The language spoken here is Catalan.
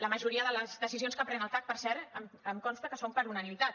la majoria de les decisions que pren el cac per cert em consta que són per unanimitat